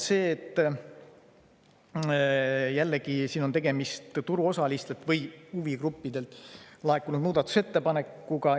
Jällegi on tegemist turuosalistelt või huvigruppidelt laekunud muudatusettepanekuga.